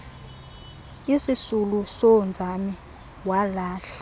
isisuulu soonzame walahla